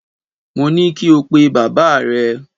Mo ní kí o pe bàbáà rẹ!